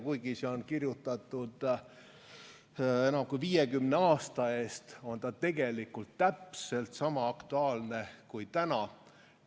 Kuigi see on kirjutatud enam kui 50 aasta eest, on see tegelikult täpselt sama aktuaalne ka täna.